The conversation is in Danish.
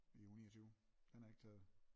I uge 29 den er ikke taget